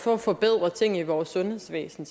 for at forbedre ting i vores sundhedsvæsen